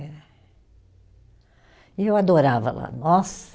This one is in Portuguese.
Eh E eu adorava lá. Nossa